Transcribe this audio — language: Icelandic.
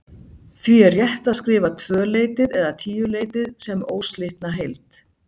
Því er rétt að skrifa tvöleytið eða tíuleytið sem óslitna heild.